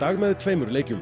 með tveimur leikjum